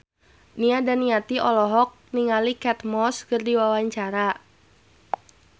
Nia Daniati olohok ningali Kate Moss keur diwawancara